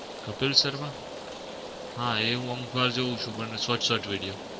કપિલ શર્મા? હા એ હું અમુક વાર જોવું છું પણ short short video.